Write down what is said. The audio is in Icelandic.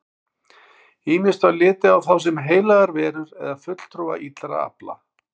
Ýmist var litið á þá sem heilagar verur eða fulltrúa illra afla.